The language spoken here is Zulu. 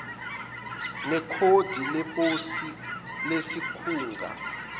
nekhodi leposi lesikhungu